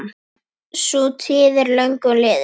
Sú tíð er löngu liðin.